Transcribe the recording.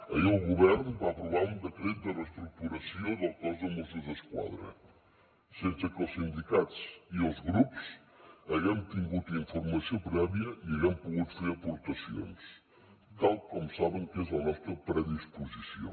ahir el govern va aprovar un decret de reestructuració del cos de mossos d’esquadra sense que els sindicats i els grups haguem tingut informació prèvia i haguem pogut fer aportacions tal com saben que és la nostra predisposició